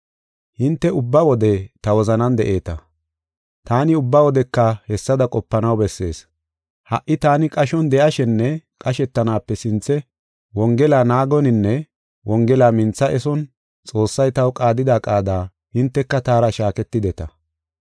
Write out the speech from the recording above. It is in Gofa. Hinte ubba wode ta wozanan de7eeta. Taani ubba wodeka hessada qopanaw bessees. Ha77i taani qashon de7ashenne qashetanaape sinthe Wongela naagoninne Wongela mintha eson Xoossay taw qaadida qaada hinteka taara shaaketideta.